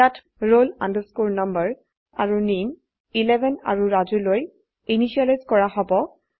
ইয়াত roll number আৰু নামে 11 আৰুRajuলৈ ইনিসিয়েলাইজ কৰা হব